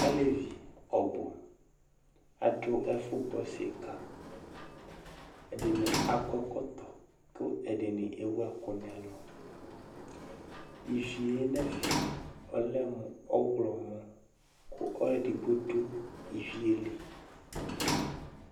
Alevi ɔbʋ adʋ ɛfʋ gbɔ sika Ɛdini akɔ ɛkɔtɔ, kʋ ɛdini ewu ɛkʋ n'ɛlʋ Ivi yɛ n'ɛfɛ ɔlɛ mʋ ɔɣlɔmɔ kʋ ɔlʋ edigbo dʋ ivi yɛ li